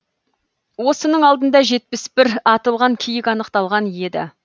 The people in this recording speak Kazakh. осының алдында жетпіс бір атылған киік анықталған еді